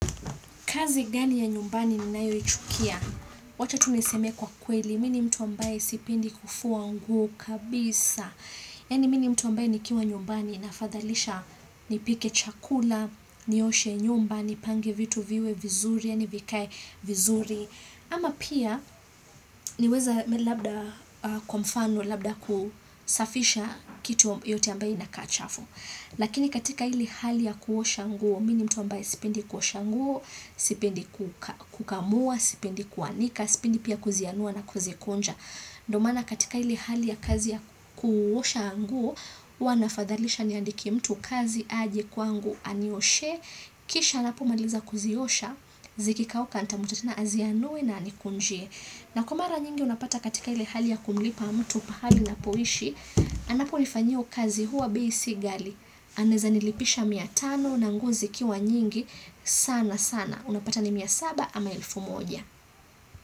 Kazi gani ya nyumbani ninayoichukia? Wacha tu niseme kwa kweli, mimi ni mtu ambaye sipendi kufua nguo kabisa. Yani mimi ni mtu ambaye nikiwa nyumbani nafadhalisha nipike chakula, nioshe nyumba nipange vitu viwe vizuri, yani vikae vizuri. Ama pia niweze labda kwa mfano, labda kusafisha kitu yoyote ambayo inakaa chafu. Lakini katika ile hali ya kuosha nguo, mimi ni mtu ambaye sipendi kuosha nguo, sipendi kukamua, sipendi kuanika, sipendi pia kuzianua na kuzikunja. Ndio maana katika ile hali ya kazi ya kuosha nguo, huwa nafadhalisha niandike mtu kazi aje kwangu anioshee, kisha anapomaliza kuziosha, zikikauka nitamuita tena azianue na anikunjie. Na kwa mara nyingi unapata katika ile hali ya kumlipa mtu pahali napoishi, anaponifanyia hiyo kazi huwa bei si ghali. Anaweza nilipisha mia tano na nguzo zikiwa nyingi sana sana. Unapata ni mia saba ama elfu moja.